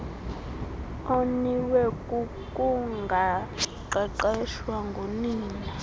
oniwe kukungaqeqeshwa ngunina